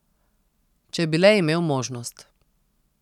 Če bi le imel možnost.